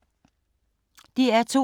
DR2